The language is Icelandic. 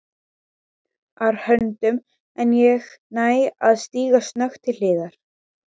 ar höndum en ég næ að stíga snöggt til hliðar.